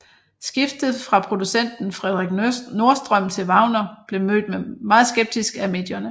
Skiftet fra produceren Fredrik Nordström til Wagener blev mødt meget skeptisk af medierne